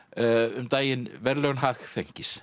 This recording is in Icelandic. um daginn verðlaun